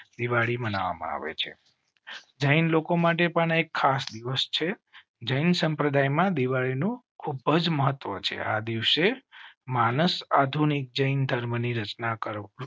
દિવાળી મનાવવા માં આવે છે. જૈન લોકો માટે પણ એક ખાસ દિવસ છે. જૈન સંપ્રદાય માં દિવાળી નું ખુબજ મહત્વ છે. આ દિવસે માનસ આધુનિક જૈન ધર્મની રચના કરો.